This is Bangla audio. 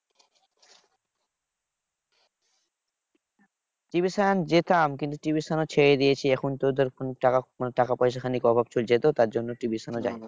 Tuition যেতাম কিন্তু tuition ছেড়ে দিয়েছি। এখন তো ধর টাকা মানে টাকা পয়সার খানিক অভাব চলছে তো তাই জন্য tuition যাই না।